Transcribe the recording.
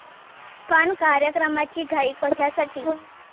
पण कार्यक्रमाची घाई कशासाठी?